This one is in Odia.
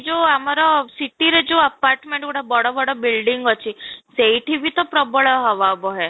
ଯଉ ଆମର city ରେ ଯଉ apartment ଗୁଡା ବଡ ବଡ building ଅଛି, ସେଇଠି ବି ତ ପ୍ରବଳ ବହେ